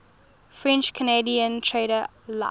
french canadian trader la